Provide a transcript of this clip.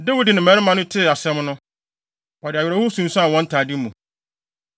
Dawid ne ne mmarima no tee asɛm no, wɔde awerɛhow sunsuan wɔn ntade mu.